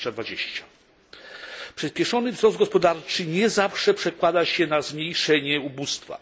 2020. Przyspieszony wzrost gospodarczy nie zawsze przekłada się na zmniejszenie ubóstwa.